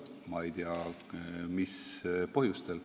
Ma ei tea, mis põhjustel.